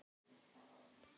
Ótti hans lamar hana.